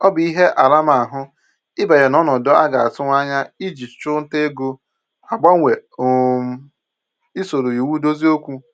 Ọ bụ ihe aramahụ ịbanye n'ọnọdụ a ga-atụwa anya iji ịchụ ntà ego agbanwe um isoro iwu dozie okwu